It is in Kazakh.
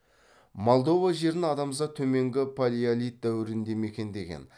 молдова жерін адамзат төменгі палеолит дәуірінде мекендеген